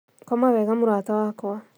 Koma wega mũrata wakwa